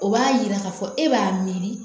O b'a yira k'a fɔ e b'a miiri